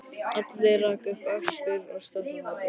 Alli rak upp öskur og stökk á fætur.